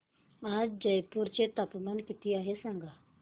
आज जयपूर चे तापमान किती आहे सांगा